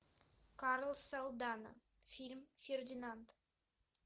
карлос салдана фильм фердинанд